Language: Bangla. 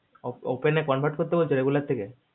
open নে convert বলছে regular থেকে